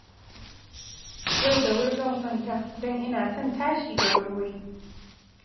Yau da wuri zan kwanta, don ina son tashi da wurwuri